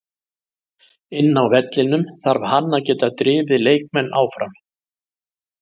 Inni á vellinum þarf hann að geta drifið leikmenn áfram.